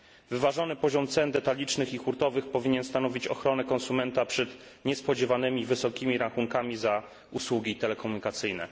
Wyważony poziom cen detalicznych i hurtowych powinien stanowić ochronę konsumenta przed niespodziewanymi wysokimi rachunkami za usługi telekomunikacyjne.